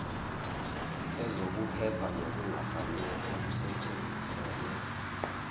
yezokuphepha nokungafanele usetshenziselwe